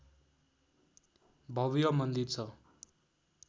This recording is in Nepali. भव्य मन्दिर छ